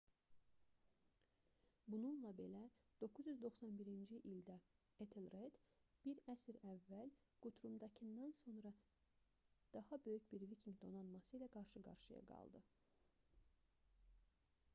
bununla belə 991-ci ildə etelred bir əsr əvvəl qutrumdakından sonra daha böyük bir vikinq donanması ilə qarşı-qarşıya qaldı